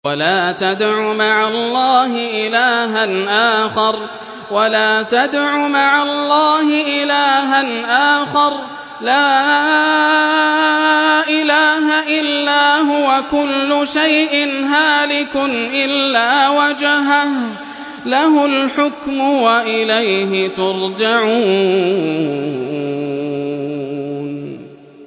وَلَا تَدْعُ مَعَ اللَّهِ إِلَٰهًا آخَرَ ۘ لَا إِلَٰهَ إِلَّا هُوَ ۚ كُلُّ شَيْءٍ هَالِكٌ إِلَّا وَجْهَهُ ۚ لَهُ الْحُكْمُ وَإِلَيْهِ تُرْجَعُونَ